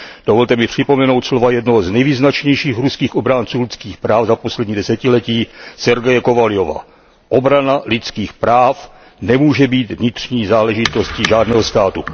Dovolte mi připomenout slova jednoho z nejvýznačnějších ruských obránců lidských práv za poslední desetiletí, Sergeje Kovaljova Obrana lidských práv nemůže být vnitřní záležitostí žádného státu.